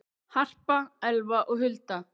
Harpa, Elfa og Hulda.